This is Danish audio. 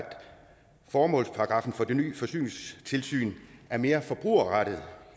formålsparagraffen for det nye forsyningstilsynet er mere forbrugerrettet